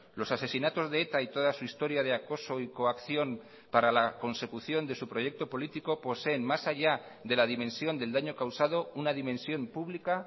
los asesinatos de eta y toda su historia de acoso y coacción para la consecución de su proyecto político poseen más allá de la dimensión del daño causado una dimensión pública